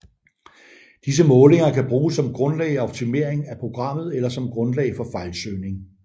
Disse målinger kan bruges som grundlag for optimering af programmet eller som grundlag for fejlsøgning